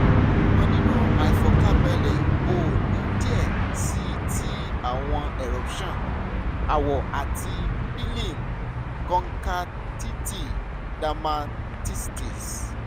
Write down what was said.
ṣugbọn ninu aifọkanbalẹ o ni diẹ sii ti awọn eruptions awọ ati peeling (kọntaktẹti dermatitis)